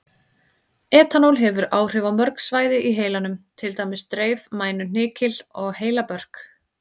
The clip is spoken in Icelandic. Etanól hefur áhrif á mörg svæði í heilanum, til dæmis dreif, mænu, hnykil og heilabörk.